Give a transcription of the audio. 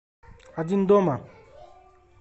один дома